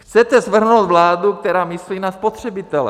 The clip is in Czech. Chcete svrhnout vládu, která myslí na spotřebitele!